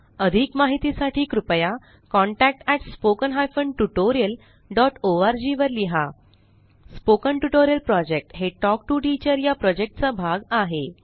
अधिक माहितीसाठी कृपया contact at spoken hyphen tutorial dot org वर लिहा स्पोकन ट्युटोरियल प्रॉजेक्ट हे टॉक टू टीचर या प्रॉजेक्टचा भाग आहे